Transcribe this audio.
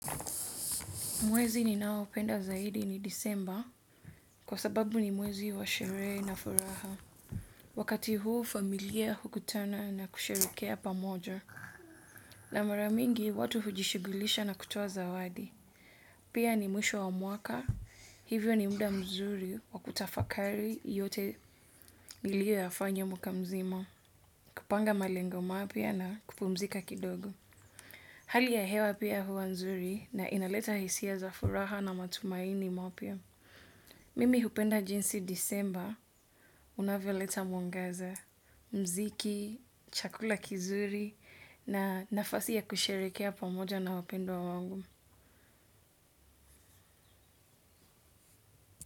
Mwezi ninaopenda zaidi ni Disemba kwa sababu ni mwezi wa sherehe na furaha. Wakati huu familia hukutana na kusherekea pamoja. Na mara mingi watu hujishigulisha na kutoa zawadi. Pia ni mwisho wa mwaka hivyo ni muda mzuri wa kutafakari yote ulioyafanya mwaka mzima. Kupanga malengo mapya na kupumzika kidogo. Hali ya hewa pia huwa nzuri na inaleta hisia za furaha na matumaini mapya. Mimi hupenda jinsi Disemba, unavyoleta mwangaza, mziki, chakula kizuri na nafasi ya kusherehekea pamoja na wapendwa wangu.